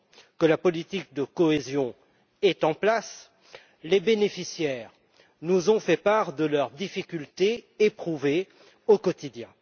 que la politique de cohésion est en place, les bénéficiaires nous ont fait part des difficultés qu'ils éprouvent au quotidien.